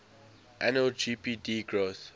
annual gdp growth